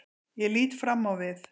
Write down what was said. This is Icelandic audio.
Ég lít fram á við.